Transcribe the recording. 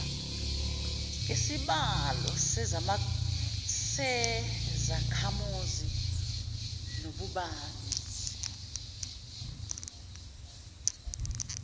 ngesibalo sezakhamuzi nobubanzi